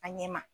A ɲɛ ma